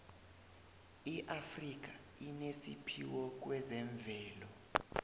iafrika inesiphiwo kwezemvelo